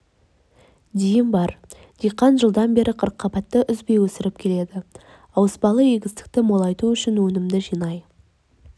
дейін бар диқан жылдан бері қырыққабатты үзбей өсіріп келеді ауыспалы егістікті молайту үшін өнімді жинай